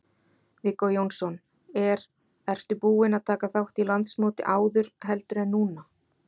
Viggó Jónsson: Er, ertu búin að taka þátt í landsmóti áður, heldur en núna?